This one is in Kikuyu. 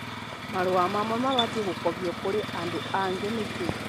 Marũa mamwe mabatiĩ gũkobio kũrĩ andũ angĩ nĩkĩ?